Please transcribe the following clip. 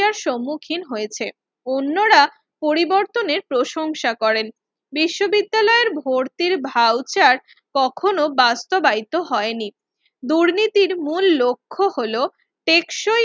সম্মুখীন হয়েছে অন্যরা পরিবর্তনের প্রশংসা করেন বিশ্ববিদ্যালয় ভর্তির voucher কখনো বাস্তবায়িত হয়নি দুর্নীতির মূল লক্ষ্য হলো টেকসই